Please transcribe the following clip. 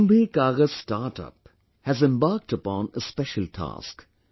KumbhiKagaz StartUp has embarked upon a special task